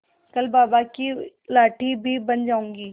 कल बाबा की लाठी भी बन जाऊंगी